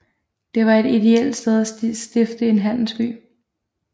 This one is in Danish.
Det var et ideelt sted at stifte en handelsby